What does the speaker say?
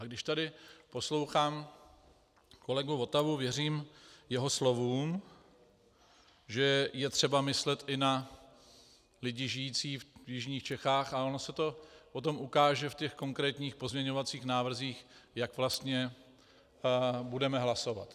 A když tady poslouchám kolegu Votavu, věřím jeho slovům, že je třeba myslet i na lidi žijící v jižních Čechách, a ono se to potom ukáže v těch konkrétních pozměňovacích návrzích, jak vlastně budeme hlasovat.